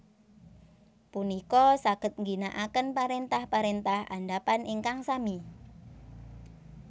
punika saged ngginakaken parentah parentah andhapan ingkang sami